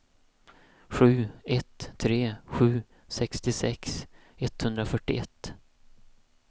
sju ett tre sju sextiosex etthundrafyrtioett